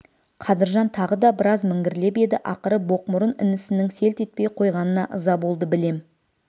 қадыржан тағы да біраз міңгірлеп еді ақыры боқмұрын інісінің селт етпей қойғанына ыза болды білем